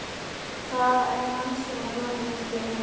Það er hann sem var brotinn með steininum.